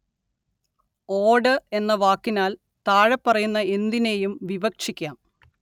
ഓട് എന്ന വാക്കിനാല്‍ താഴെപ്പറയുന്ന എന്തിനേയും വിവക്ഷിക്കാം